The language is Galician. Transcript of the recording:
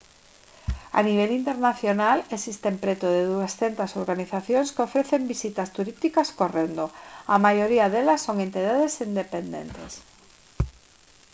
a nivel internacional existen preto de 200 organizacións que ofrecen visitas turísticas correndo a maioría delas son entidades independentes